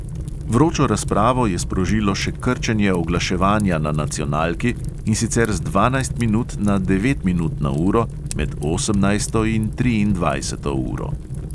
Vročo razpravo je sprožilo še krčenje oglaševanja na nacionalki, in sicer z dvanajst minut na devet minut na uro med osemnajsto in triindvajseto uro.